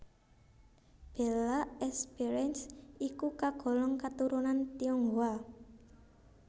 Bella Esperance iku kagolong katurunan Tionghoa